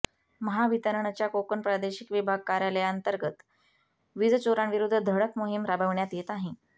महावितरणच्या कोकण प्रादेशिक विभाग कार्यालयांतर्गत वीजचोरांविरुद्ध धडक मोहीम राबविण्यात येत आहे